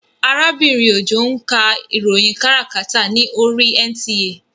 Arábìnrin Òjó ń ka ìròyìn káràkátà ní oríi NTA